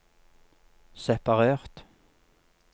separert